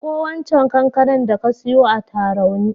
Ɗanko waccan kankanar da ka siyo a Tarauni.